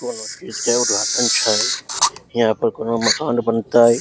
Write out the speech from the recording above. कोनो चीज के उद्धघाटन छै यहाँ पर कोने मकान बनतय ।